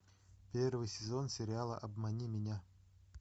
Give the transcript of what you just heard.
первый сезон сериала обмани меня